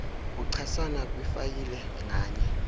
buchasana kwifayile nganye